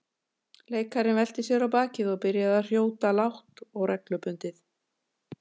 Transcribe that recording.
Leikarinn velti sér á bakið og byrjaði að hrjóta lágt og reglubundið.